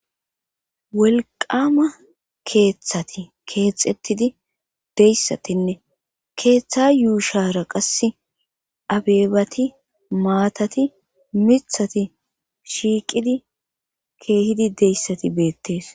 wolqama keeththati keexettidi deyssatinne keeththa yuushara qasse abeebati maatati mithati shiiqidi keehidi deyssati beettees